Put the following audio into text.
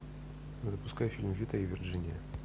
запускай фильм вита и вирджиния